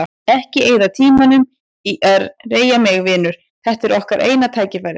Ekki eyða tímanum í að rengja mig, vinur, þetta er okkar eina tækifærið.